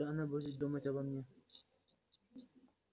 что она будет думать обо мне